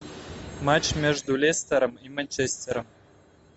матч между лестером и манчестером